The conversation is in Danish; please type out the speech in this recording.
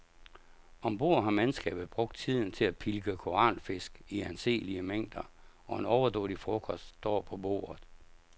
Ombord har mandskabet brugt tiden til at pilke koralfisk i anselige mængder, og en overdådig frokost står på bordet.